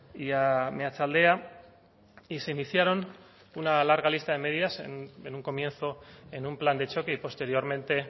y a meatzaldea y se iniciaron una larga lista de medidaas en un comienzo en un plan de choque y posteriormente